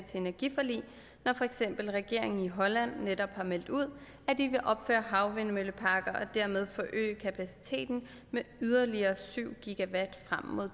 til energiforlig når for eksempel regeringen i holland netop har meldt ud at de vil opføre havvindmølleparker og dermed øge kapaciteten med yderligere